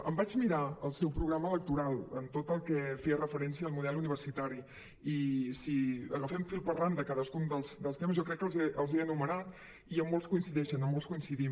em vaig mirar al seu programa electoral tot el que feia referència al model uni·versitari i si agafem fil per randa cadascun dels temes jo crec que els he enumerat i molts coincideixen en molts coincidim